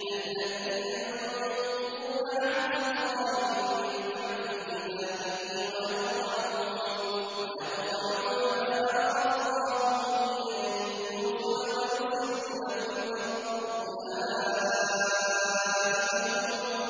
الَّذِينَ يَنقُضُونَ عَهْدَ اللَّهِ مِن بَعْدِ مِيثَاقِهِ وَيَقْطَعُونَ مَا أَمَرَ اللَّهُ بِهِ أَن يُوصَلَ وَيُفْسِدُونَ فِي الْأَرْضِ ۚ أُولَٰئِكَ